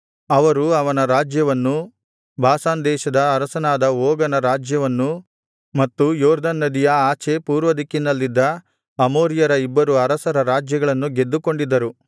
ಅವರು ಅವನ ರಾಜ್ಯವನ್ನೂ ಬಾಷಾನ್ ದೇಶದ ಅರಸನಾದ ಓಗನ ರಾಜ್ಯವನ್ನೂ ಮತ್ತು ಯೊರ್ದನ್ ನದಿಯ ಆಚೆ ಪೂರ್ವದಿಕ್ಕಿನಲ್ಲಿದ್ದ ಅಮೋರಿಯರ ಇಬ್ಬರು ಅರಸರ ರಾಜ್ಯಗಳನ್ನು ಗೆದ್ದುಕೊಂಡಿದ್ದರು